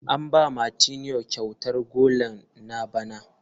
An ba Martineau kyautar golan na bana.